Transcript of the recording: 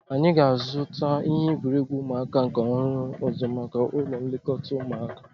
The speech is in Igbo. Anyị ga-azuta ihe egwuregwu ụmụaka nke ọhụrụ ọzọ maka ụlọ nlekọta ụmụaka